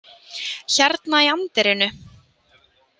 Hérna í anddyrinu?